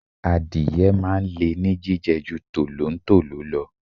Adìẹ máa ń le ní jíjẹ ju tolontolo lọ.